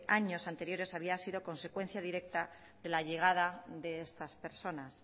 años anteriores había sido consecuencia directa de la llegada de estas personas